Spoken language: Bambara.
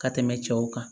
Ka tɛmɛ cɛw kan